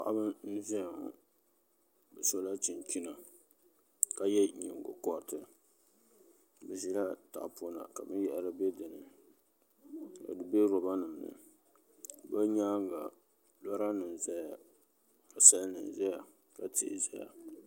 Paɣaba n ʒiya ŋɔ bi sola chinchina ka yɛ nyingokoriti bi ʒila tahapona ka binyhari bɛ dinni ka di bɛ roba nim ni bi nyaanga roba nim ʒɛya ka sal nim ʒɛya ka tihi ʒɛya